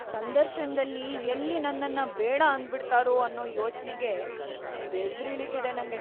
ಸಂದರ್ಶನದಲ್ಲಿ ಎಲ್ಲಿ ನನ್ನನ್ನ ಬೇಡ ಅಂದ್ಬಿಡ್ತಾರೋ ಅನ್ನೋ ಯೋಚ್ನೆಗೇ ಬೆವ್ರಿಳೀತಿದೆ ನಂಗೆ.